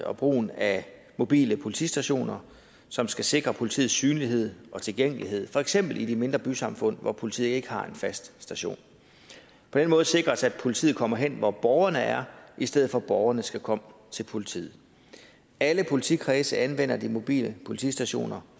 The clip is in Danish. og brugen af mobile politistationer som skal sikre politiets synlighed og tilgængelighed for eksempel i de mindre bysamfund hvor politiet ikke har en fast station på den måde sikres det at politiet kommer hen hvor borgerne er i stedet for at borgerne skal komme til politiet alle politikredse anvender de mobile politistationer